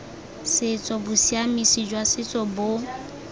setso bosiamisi jwa setso bo